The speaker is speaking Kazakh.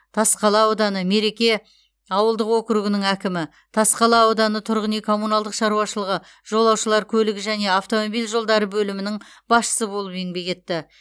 тасқала ауданы мереке ауылдық округінің әкімі тасқала ауданы тұрғын үй коммуналдық шаруашылығы жолаушылар көлігі және автомобиль жолдары бөлімінің басшысы болып еңбек етті